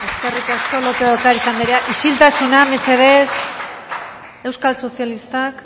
eskerrik asko lópez de ocariz andrea isiltasuna mesedez euskal sozialistak